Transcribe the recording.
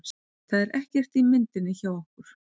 Það er ekkert í myndinni hjá okkur.